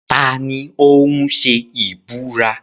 Ta ni ó ń ṣe ìbúra?